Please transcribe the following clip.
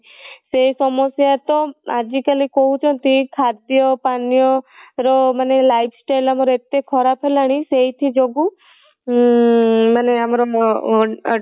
ସେ ସମସ୍ୟା ତା ଆଜି କାଲି କହୁଛନ୍ତି ଖାଦ୍ୟ ପାନ୍ୟ ର ମାନେ lifestyle ଆମର ଏତେ ଖରାପ ହେଲାଣି ସେଇଥି ଯୋଗୁ ଉଁ ମାନେ ଆମର ଅଁ